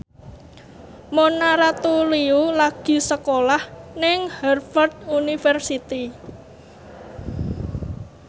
Mona Ratuliu lagi sekolah nang Harvard university